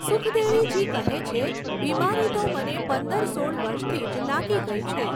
સુખદેવીજી કહે છે, બિમારી તો મને પંદર સોળ વર્ષથી જ લાગી ગઈ છે.